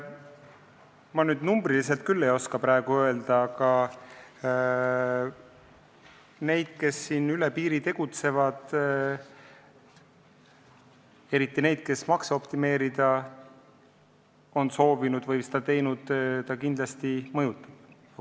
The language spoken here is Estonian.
Ma numbriliselt küll ei oska praegu öelda, aga neid, kes üle piiri tegutsevad, eriti neid, kes on makse optimeerida soovinud või seda teinud, ta kindlasti mõjutab.